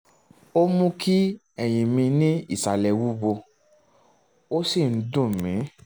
ó ń mú kí ẹ̀yìn mi ní ìsàlẹ̀ wúwo ó sì ń dùn mí